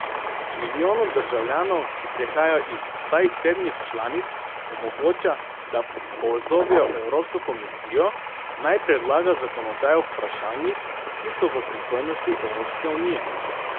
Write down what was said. Milijonu državljanov, ki prihajajo iz vsaj sedmih članic, omogoča, da pozovejo evropsko komisijo, naj predlaga zakonodajo v vprašanjih, ki so v pristojnosti Evropske unije.